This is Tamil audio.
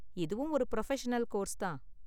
இதுவும் ஒரு புரஃபஷனல் கோர்ஸ் தான்.